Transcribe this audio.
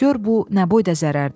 Gör bu nə boyda zərərdir!